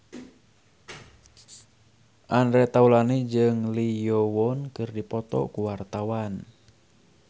Andre Taulany jeung Lee Yo Won keur dipoto ku wartawan